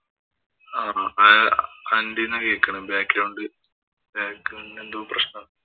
കേള്‍ക്കുന്നു. Back ground ഇല് എന്തോ പ്രശ്നം